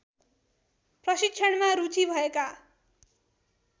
प्रशिक्षणमा रूची भएका